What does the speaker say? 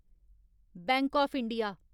bank of India